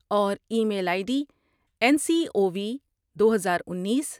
اور email I D N C O V دو ہزار انیس ۔